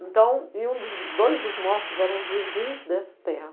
Então, e um, dois dos mortos eram os vizinhos dessa terra.